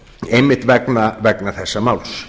einmitt vegna þessa máls